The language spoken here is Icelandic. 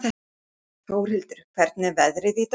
Þórhildur, hvernig er veðrið í dag?